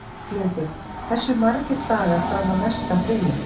Arnljótur, hversu margir dagar fram að næsta fríi?